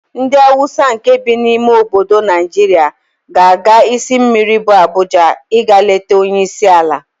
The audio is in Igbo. Ndị Hausa nkè bi n'ime obodo Naịjirịa ga-aga isi mmiri bu Abuja ịga leta onyeisiala.